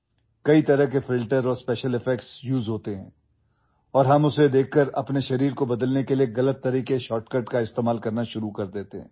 বহু ধৰণৰ ফিল্টাৰ বিশেষ প্ৰভাৱ ব্যৱহাৰ কৰা হয় আৰু আমি সেইবোৰ দেখি ভুল শ্বৰ্টকাট ব্যৱহাৰ কৰি আমাৰ শৰীৰ সলনি কৰিবলৈ আৰম্ভ কৰো